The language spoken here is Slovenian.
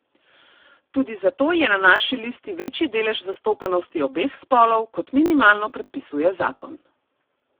Tudi zato je na naši listi večji delež zastopanosti obeh spolov, kot minimalno predpisuje zakon.